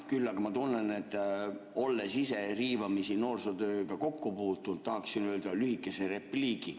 Küll aga ma tunnen, olles ise riivamisi noorsootööga kokku puutunud, et tahaksin öelda lühikese repliigi.